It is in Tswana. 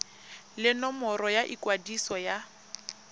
le nomoro ya ikwadiso ya